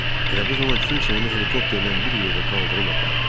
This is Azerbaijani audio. Elə bu zaman kimsə onu helikopterlə bir yerdə qaldırıb apardı.